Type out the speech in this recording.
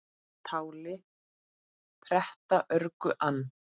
Táli pretta örgu ann